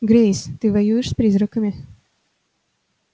грейс ты воюешь с призраками